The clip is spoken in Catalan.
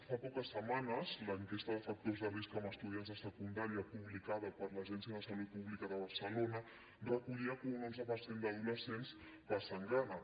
fa poques setmanes l’enquesta de factors de risc en estudiants de secundària publicada per l’agència de salut pública de barcelona recollia que un onze per cent d’adolescents passen gana